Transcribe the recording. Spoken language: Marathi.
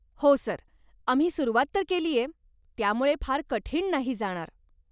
हो सर, आम्ही सुरुवात तर केलीये, त्यामुळे फार कठीण नाही जाणार.